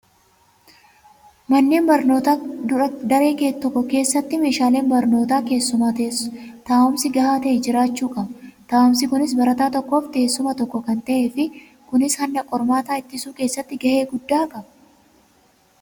Manneen barnootaa daree tokko keessatti meeshaaleen barnootaa keessumaa taa'umsi gahaa ta'e jiraachuu qaba. Taa'umsi kunis barataa tokkoof teessuma tokko kan ta'ee fi kunis hanna qormaataa ittisuu keessatti gahee guddaa qaba.